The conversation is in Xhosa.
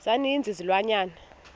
za ninzi izilwanyana